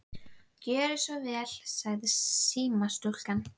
Gjörið þið svo vel, sagði símastúlkan.